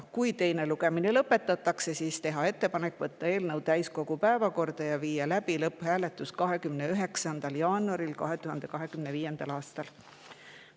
Otsustati, et kui teine lugemine lõpetatakse, siis tehakse ettepanek võtta eelnõu täiskogu päevakorda ja viia läbi lõpphääletus 29. jaanuaril 2025. aastal.